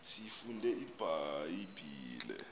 siyifunde ibha yibhile